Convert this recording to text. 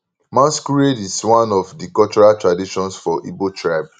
masquerade is one of di cultural traditions for igbo tribe